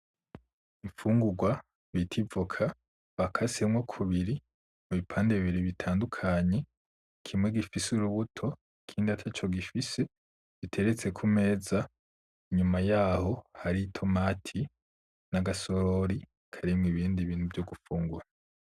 Imfungurwa bita ivoka ikasemwo kubiri ibipande bibiri bitadukanye kimwe gufise urubuto ikindi ataco gifise biteretse ku meza inyuma yaho hari itomati n’agasorori ibindi bintu vyo gufungura.